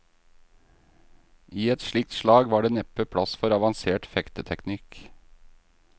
I et slikt slag var det neppe plass for avansert fekteteknikk.